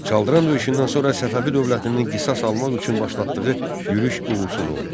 Çaldıran döyüşündən sonra Səfəvi dövlətinin qisas almaq üçün başlatdığı yürüş uğursuz oldu.